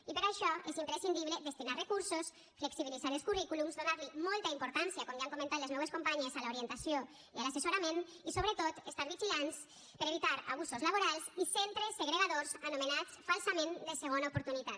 i per a això és imprescindible destinar recursos flexibilitzar els currículums donar molta importància com ja han comentat les meues companyes a l’orientació i a l’assessorament i sobretot estar vigilants per evitar abusos laborals i centres segregadors anomenats falsament de segona oportunitat